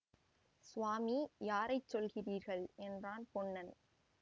சுவாமி யாரைச் சொல்லுகிறீர்கள் என்றான் பொன்னன்